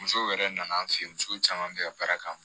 Musow yɛrɛ nana an fɛ yen musow caman bɛ ka baara k'a ma